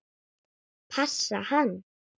Passa hann?